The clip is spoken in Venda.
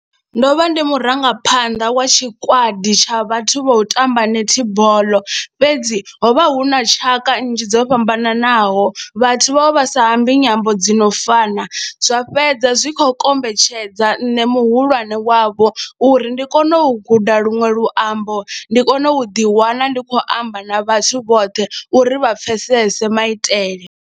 Ndo vha ndi murangaphanḓa wa tshikwadi tsha vhathu vho tamba netball fhedzi ho vha hu na tshaka nnzhi dzo fhambananaho, vhathu vha vha sa ambi nyambo dzi no fana zwa fhedza zwi khou kombetshedza nṋe muhulwane wavho uri ndi kone u guda luṅwe luambo, ndi kone u ḓiwana ndi khou amba na vhathu vhoṱhe uri vha pfhesese maitele.